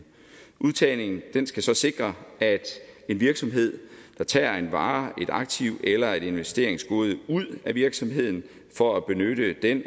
udtagningen skal så sikre at en virksomhed der tager en vare et aktiv eller et investeringsgode ud af virksomheden for at benytte det